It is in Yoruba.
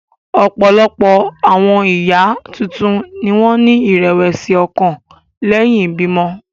Ọ̀pọ̀lọpọ̀ àwọn ìyá tuntun ni wọ́n ní ìrẹ̀wẹ̀sì ọkàn lẹ́yìn ìbímọ.